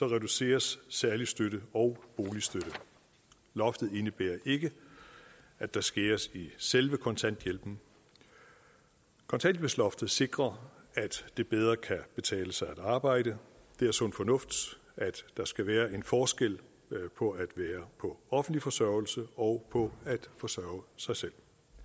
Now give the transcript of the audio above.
reduceres særlig støtte og boligstøtte loftet indebærer ikke at der skæres i selve kontanthjælpen kontanthjælpsloftet sikrer at det bedre kan betale sig at arbejde det er sund fornuft at der skal være en forskel på at være på offentlig forsørgelse og på at forsørge sig selv